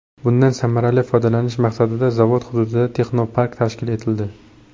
Bundan samarali foydalanish maqsadida zavod hududida texnopark tashkil etildi.